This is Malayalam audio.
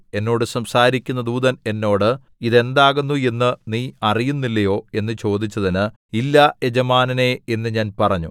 എന്നോട് സംസാരിക്കുന്ന ദൂതൻ എന്നോട് ഇത് എന്താകുന്നു എന്നു നീ അറിയുന്നില്ലയോ എന്നു ചോദിച്ചതിന് ഇല്ല യജമാനനേ എന്നു ഞാൻ പറഞ്ഞു